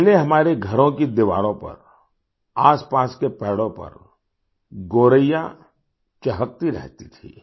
पहले हमारे घरों की दीवारों पर आसपास के पेड़ों पर गोरैया चहकती रहती थी